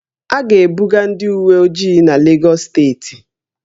A ga-ebuga ndị uweojii n'Legọs steeti